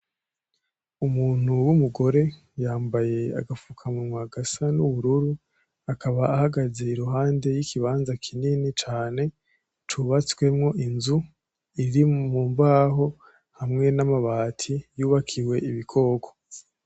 Umuntu w'umugore yambaye agafukamunwa gasa n'ubururu, akaba ahagaze iruhande y'ikibanza kinini cane cubatswemwo inzu iri mu mbaho hamwe n'amabati yubakiye ibikoko.